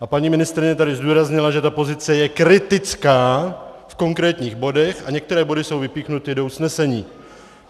A paní ministryně tady zdůraznila, že ta pozice je kritická v konkrétních bodech, a některé body jsou vypíchnuty do usnesení.